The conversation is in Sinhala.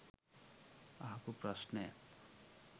අහපු ප්‍රශ්නය